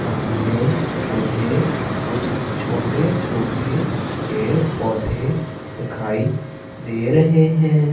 सामने मुझे कुछ छोटे छोटे पेड़ पौधे दिखाई दे रहे हैं।